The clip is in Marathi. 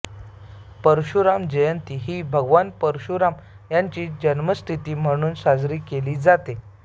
परशुराम जयंती ही भगवान परशुराम याची जन्मतिथी म्हणून साजरी केली जाते